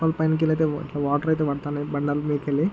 పైన కెళ్ళైతే వాటర్ అయితే పడతన్నాయి. బండి అంత మీద కెళ్ళి--